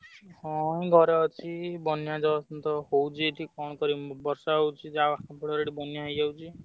ହଁ ଘରେ ଅଛି ବନ୍ୟା ତ ହଉଛି ଏଠି କଣ କରିବି ମୁଁ ବର୍ଷା ହଉଛି ଆମର ବନ୍ୟା ହେଇଯାଉଛି।